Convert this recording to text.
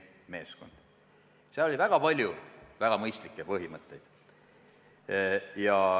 See koondab väga palju väga mõistlikke põhimõtteid.